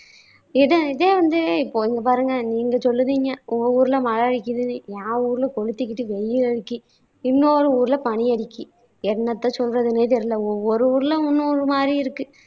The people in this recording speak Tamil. இது இதே வந்து இப்பஒ இங்க பாருங்க நீங்க சொல்லுதீங்க உங்க ஊர்ல மழை அடிக்கிது என் ஊர்ல கொளுத்திக்கிட்டு வெயில் அடிக்கி இன்னொரு ஊர்ல பனி அடிக்கி. என்னத்த சொல்றதுன்னே தெரியல ஒவ்வொரு ஊர்ல ஒண்ணு ஒண்ணு ஒரு மாதிரி இருக்கு